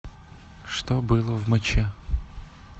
что было в моче